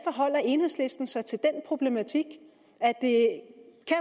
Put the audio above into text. enhedslisten forholder sig til den problematik